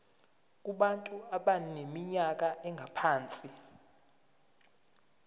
kubantu abaneminyaka engaphansi